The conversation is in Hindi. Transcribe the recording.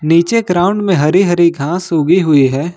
पीछे ग्राउंड में हरी हरी घास उगी हुई है।